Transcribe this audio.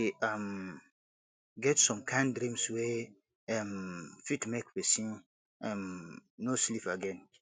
e um get some kain dreams wey um fit make pesin um no sleep again